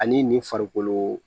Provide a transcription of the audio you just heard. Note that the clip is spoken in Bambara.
Ani nin farikolo